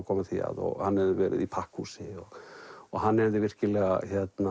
koma því að og hann hefði verið í pakkhúsi og hann hefði virkilega